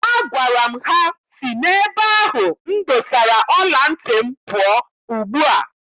Agwara m ha si n'ebe ahụ m dosara ọla ntị m pụọ ugbua!